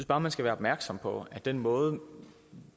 bare man skal være opmærksom på at den måde